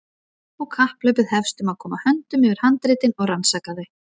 Og kapphlaupið hefst um að koma höndum yfir handritin og rannsaka þau.